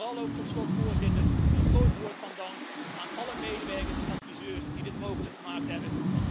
En vooral ook tot slot, Voorzitter, een groot woord van dank aan alle medewerkers en adviseurs die dit mogelijk gemaakt hebben.